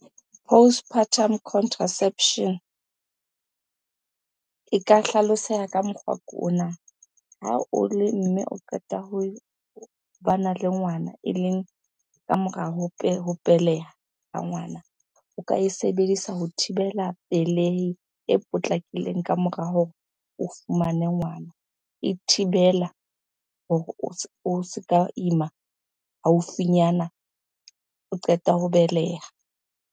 Postpartum contraception e ka hlaloseha ka mokgwa ke ona. Ha o le mme o qeta ho bana le ngwana, eleng ka mora ho beleha ha ngwana. O ka e sebedisa ho thibela pelehi e potlakileng kamora hore o fumane ngwana. E thibela hore o se ka ima haufinyana o qeta ho beleha.